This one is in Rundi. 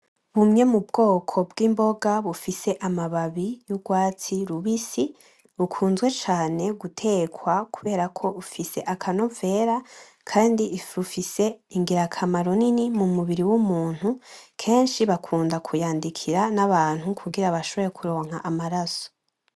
Bumwe mu bwoko bw'imboga bufise amababi y'urwatsi rubisi bukunzwe cane gutekwa kubera ko bufise akanovera, kandi bufise ingirakamaro nini mu mubiri w'umuntu, kenshi bakunda kuyandikira n'abantu kugira bashobore kuronka amaraso .